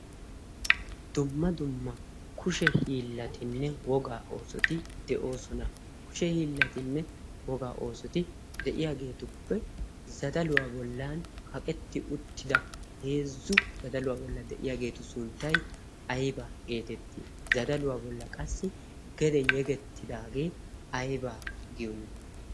dumma dumma kushe hiillatinne wogaa oosoti de'oosona. kushe hiillatinne wogaa oosoti de'iyaageetuppe zadaluwaa bollan kaqetti uttida heezzu zadaluwaa bolla de'iyaageetu sunttay aybaa geetettii zadaluwaa bolla qassi gede yegettidaagee aibaa giyoonii?